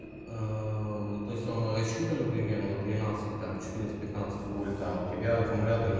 то есть он расчитан примерно на тринадцать там четырнадцать пятнадцать вольт а у тебя акомулятор на